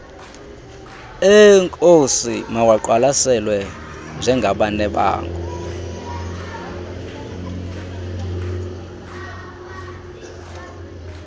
eenkosi mawaqwalaselwe njengabanebango